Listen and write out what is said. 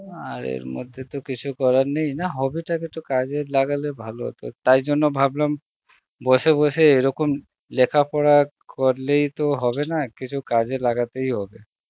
আর এর মধ্যে তো কিছু করার নেই না hobby তাকে একটু কাজে লাগালে ভালো হত, তাই জন্যে ভাবলাম, বসে বসে এইরকম লেখা পরা করলেই তো হবে না কিছু কাজে লাগাতেই হবে